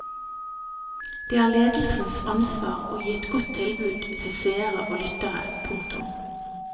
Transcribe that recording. Det er ledelsens ansvar å gi et godt tilbud til seere og lyttere. punktum